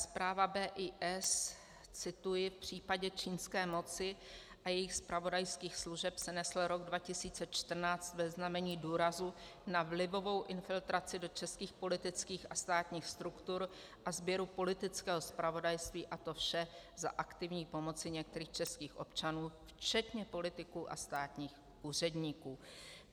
Zpráva BIS, cituji: "V případě čínské moci a jejích zpravodajských služeb se nesl rok 2014 ve znamení důrazu na vlivovou infiltraci do českých politických a státních struktur a sběru politického zpravodajství, a to vše za aktivní pomoci některých českých občanů, včetně politiků a státních úředníků."